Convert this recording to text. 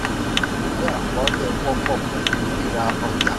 ìwé akọọlẹ̀ wọpọ̀ pẹ̀lú rírà ọjà.